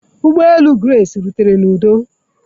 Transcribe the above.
Ụgbọ elu Grace rutere n'udo.